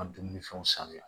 Ŋa dumunifɛnw sanuya